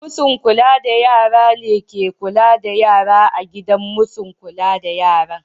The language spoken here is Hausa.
Masu'n kulla da yara ne ke kulla da yara a gidan masun kulla da yara.